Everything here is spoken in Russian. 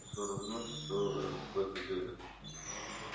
все равно все в это верят